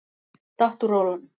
Datt úr rólunum.